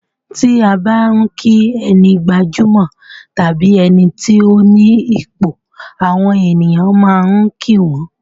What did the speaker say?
Ti a bá n ki ẹni gbajúmọ̀ tàbí ẹni ti o ni ipò, àwọn ènìyàn máa kí wọ́n.